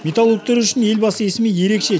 металлургтер үшін елбасы есімі ерекше